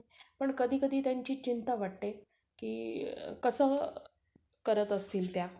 नई पण आपला budget च तेव्हडा आहे ना. आता आपण जेव्हडा होता तेव्हडा त्या हिशोबनच बोललो. आता जास्त धरून काय फायदा नाही ना.